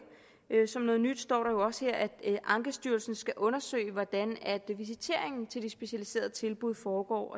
som noget nyt står der jo også her at ankestyrelsen skal undersøge hvordan visiteringen til de specialiserede tilbud foregår